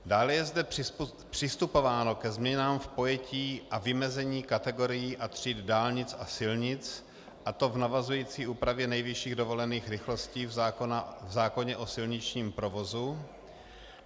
Dále je zde přistupováno ke změnám v pojetí a vymezení kategorií a tříd dálnic a silnic, a to v navazující úpravě nejvyšších dovolených rychlostí v zákoně o silničním provozu.